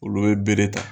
Olu ye bere ta